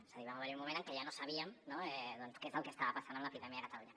és a dir va haver hi un moment en què ja no sabíem no doncs què és el que estava passant amb l’epidèmia a catalunya